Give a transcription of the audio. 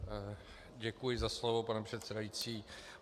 Děkuji za slovo, pane předsedající.